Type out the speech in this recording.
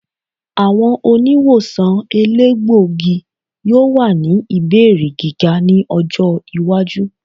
Awọn oniwosan elegbogi yoo wa ni ibeere giga ni ọjọ iwaju.